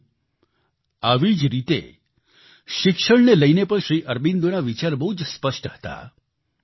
સાથીઓ આવી જ રીતે શિક્ષણને લઈને પણ શ્રી અરબિંદોના વિચાર બહુ જ સ્પષ્ટ હતા